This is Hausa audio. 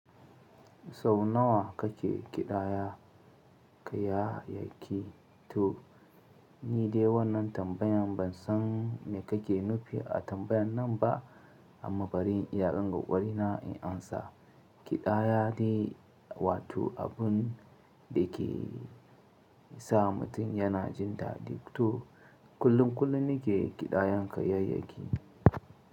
Sau nawa kake kiɗaya kayayyaki? To ni dai wannan tambayan ban san me kake nufi a tambayan nan ba amma bari in iyakan ƙokari na in amsa. Kiɗaya de wato abun da ke sa mutum yana jin daɗi. To kullum kullum nike kiɗayan kayayyaki.